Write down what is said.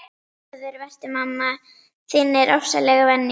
Blessaður vertu, mamma þín er ofsalega venjuleg.